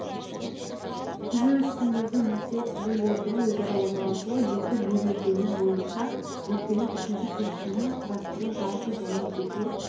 түзу үстіндегі нүкте түзулердің өзара орналасуы екі берілгені бойынша нүктенің үшінші кескінін құрастыру жалпы және жеке